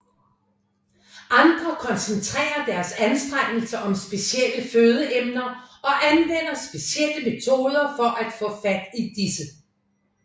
Andre koncentrerer deres anstrengelser om specielle fødeemner og anvender specielle metoder for at få fat i disse